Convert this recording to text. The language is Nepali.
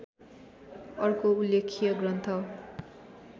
अर्को उल्लेख्य ग्रन्थ